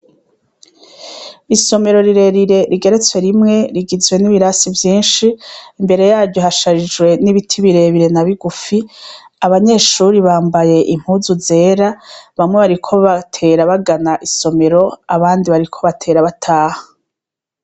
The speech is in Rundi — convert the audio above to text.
Isomero rirere rigeretswe rimwe rigizwe n'ibiransi vyinshi imbere yaryo hasharijwe n'ibiti birebire na bigufi, abanyeshure bambaye impuzu zera, bamwe bariko batera bagana isomero abandi bariko barataha.